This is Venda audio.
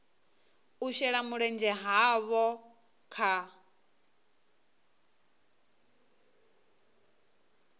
u shela mulenzhe havho kha